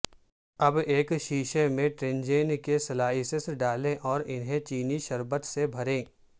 اب ایک شیشے میں ٹینجرین کے سلائسیں ڈالیں اور انہیں چینی شربت سے بھریں